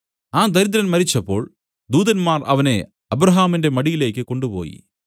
ആ ദരിദ്രൻ മരിച്ചപ്പോൾ ദൂതന്മാർ അവനെ അബ്രാഹാമിന്റെ മടിയിലേക്കു കൊണ്ടുപോയി